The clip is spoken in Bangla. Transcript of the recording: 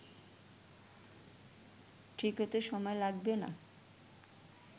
ঠিক হতে সময় লাগবে না